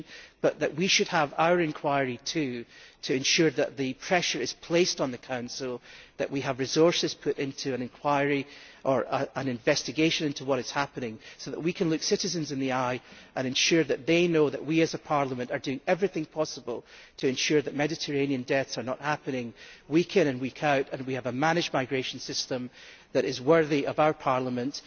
But we should also have our inquiry to ensure that pressure is put on the Council, that we have resources put into an inquiry or an investigation into what is happening, so that we can look citizens in the eye and ensure that they know that we as a Parliament are doing everything possible to ensure that Mediterranean deaths are not happening week in and week out, and that we have a managed migration system that is worthy of our Parliament.